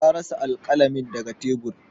Ya rasa alƙalamin daga tebur.